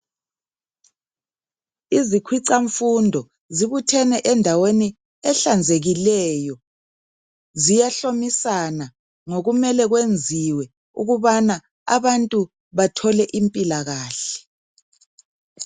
Izikhwicamfundo zibuthene endaweni ehlanzekileyo ziyahlomisana ngokumele kwenziwe ukubana abantu bathole impilakahle.